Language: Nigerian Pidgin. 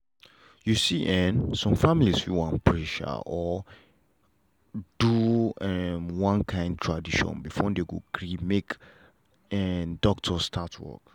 you see en some families fit wan pray um or do um one kind tradition before dem gree make um doctor start work.